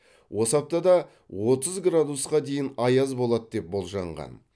осы аптада отыз градусқа дейін аяз болады деп болжанған